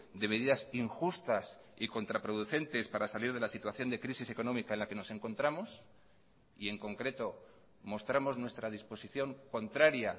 de medidas injustas y contraproducentes para salir de la situación de crisis económica en la que nos encontramos y en concreto mostramos nuestra disposición contraria